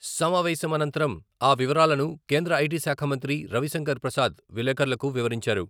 సమావేశం అనంతరం ఆవివరాలను కేంద్ర ఐటీ శాఖ మంత్రి రవిశంకర్ ప్రసాద్ విలేకర్లకు వివరించారు.